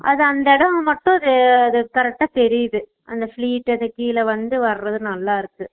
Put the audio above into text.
அத அந்த இடம் மட்டும் அஹ correct டா தெரியுது அந்த fleat அங்க கீழ வந்து வர்றது நல்லா இருக்கும்